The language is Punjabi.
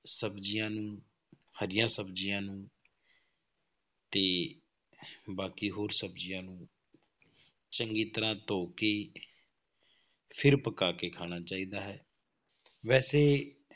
ਸਬਜ਼ੀਆਂ ਨੂੰ ਹਰੀਆਂ ਸਬਜ਼ੀਆਂ ਨੂੰ ਤੇ ਬਾਕੀ ਹੋਰ ਸਬਜ਼ੀਆਂ ਨੂੰ ਚੰਗੀ ਤਰ੍ਹਾਂ ਧੋ ਕੇ ਫਿਰ ਪਕਾ ਕੇ ਖਾਣਾ ਚਾਹੀਦਾ ਹੈ, ਵੈਸੇ